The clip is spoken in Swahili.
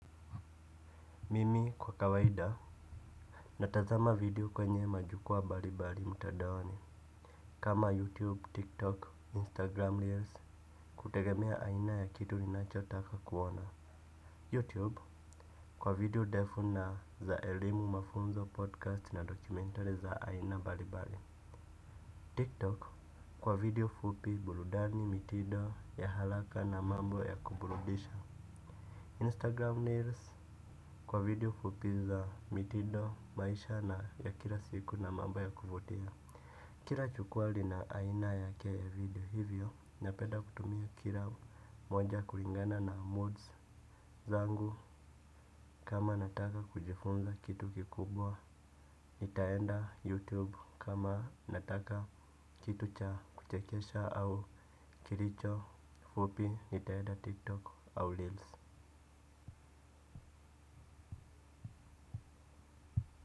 Mimi kwa kawaida natazama video kwenye majukwaa mbali mbali mtandaoni. Kama YouTube, TikTok, Instagram Reels kutegemea aina ya kitu ninachotaka kuona YouTube kwa video defu na za elimu mafunzo podcast na dokumentari za aina mbali mbali. TikTok kwa video fupi burudani mitindo ya haraka na mambo ya kuburudisha. Instagram reels kwa video fupi za mitindo, maisha na ya kila siku na mambo ya kuvutia. Kila jukwaa lina aina yake vivyo hivyo, napenda kutumia kila moja kulingana na moods zangu kama nataka kujifunza kitu kikubwa nitaenda youtube kama ninataka kitu cha kuchekesha au kilicho fupi nitaenda TikTok au reels.